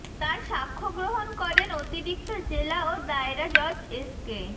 তার সাক্ষ্যগ্রহণ করেন অতিরিক্ত জেলা ও দায়রা জজ এসকে